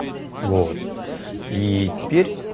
вот и теперь